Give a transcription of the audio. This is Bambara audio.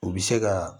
U bɛ se ka